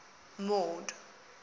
mord